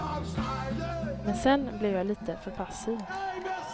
Men sen blev jag lite för passiv.